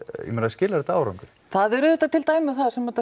ég meina skilar þetta árangri það eru auðvitað til dæmi um það þar sem þetta